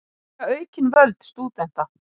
Illfært var bæja á milli vegna úrkomu